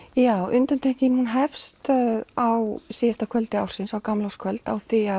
undantekning hefst á síðasta kvöldi ársins á gamlárskvöld á því